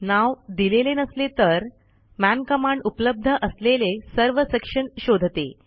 नाव दिलेले नसले तर मन कमांड उपलब्ध असलेले सर्व सेक्शन शोधते